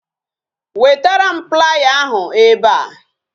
Wetaram playa ahu ebe a